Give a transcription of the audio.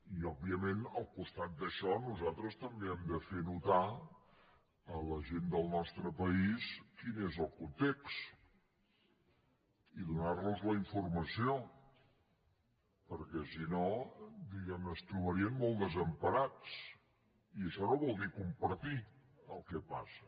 i òbviament al costat d’això nosaltres també hem de fer notar a la gent del nostre país quin és el context i donar los la informació perquè si no diguem ne es trobarien molt desemparats i això no vol dir compartir el que passa